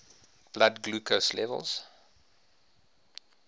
blood glucose levels